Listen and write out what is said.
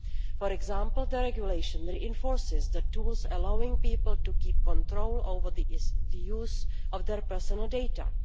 For example, the regulation reinforces the tools allowing people to keep control over the use of their personal data.